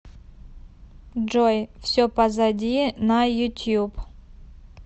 джой все позади на ютуб